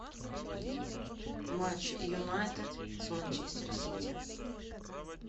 матч юнайтед с манчестер сити